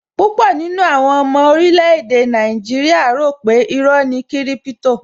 Púpọ̀ nínú àwọn ọmọ orílè-èdè Nigeria rò pe iró ni kiripito